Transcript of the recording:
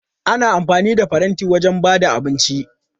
Ana amfani da faranti wajen ba da abinci.